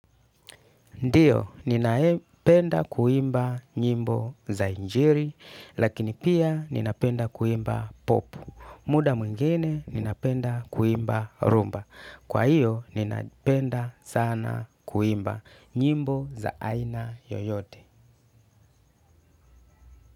Ndio ninapenda kuimba nyimbo za injili lakini pia ninapenda kuimba pop. Muda mwingine ninapenda kuimba rumba. Kwa hiyo, ninapenda sana kuimba nyimbo za aina yoyote.